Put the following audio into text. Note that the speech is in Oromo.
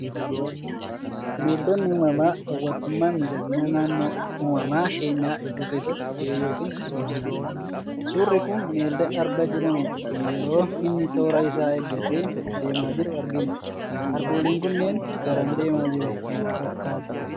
Bineeldonni uumaamaa hawwatummaa fi miidhagina naannoo uumama keenyaa eeguu keessatti gahee yookaan shoora olaanaa qabu. Suurri kun, bineelda arba jedhamu, yeroo inni toora isaa eeggatee deemaa jiru argina. Arbooliin kunneen garam deemaa jiru isinitti fakkaata?